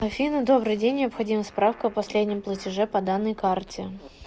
афина добрый день необходима справка о последнем платеже по данной карте